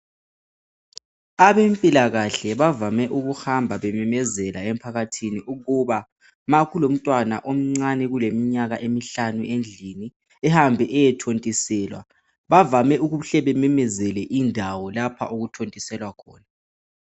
Abempilakahle bavame ukuhamba bememezela emphakathini ukuba makulomntwana omncane kuleminyaka emihlanu endlini ihambe iyethontiselwa bavame ukuhle bememezele indawo lapho okuthontiselwa khona